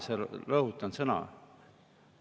Lineaarne – rõhutan seda sõna.